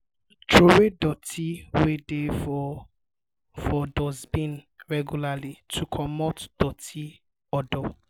trowey doti wey dey for for dustbin regularly to comot doti odour